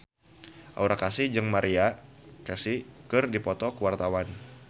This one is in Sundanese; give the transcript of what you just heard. Aura Kasih jeung Maria Carey keur dipoto ku wartawan